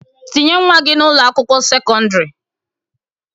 Tinye nwa gị n'Ụlọ akwụkwọ sekọndrị!